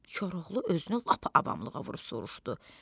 Koroğlu özünü lap avamlığa vurub soruşdu: